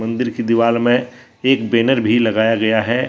मंदीर की दीवार में एक बैनर भी लगाया गया है।